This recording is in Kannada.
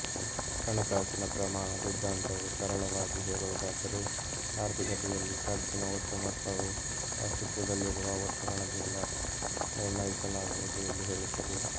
ಹಣಕಾಸಿನ ಪ್ರಮಾಣ ಸಿದ್ಧಾಂತವು ಸರಳವಾಗಿ ಹೇಳುವುದಾದರೆ ಆರ್ಥಿಕತೆಯಲ್ಲಿ ಖರ್ಚಿನ ಒಟ್ಟು ಮೊತ್ತವು ಆಸ್ತಿತ್ವದಲ್ಲಿರುವ ಒಟ್ಟು ಹಣದಿಂದ ನಿರ್ಣಯಿಸಲಾಗುವುದು ಎಂದು ಹೇಳುತ್ತದೆ